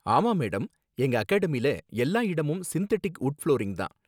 ஆமா மேடம், எங்க அகாடமில எல்லா இடமும் சிந்தெட்டிக் வுட் ஃபுளோரிங் தான்.